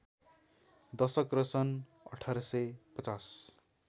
दशक र सन् १८५०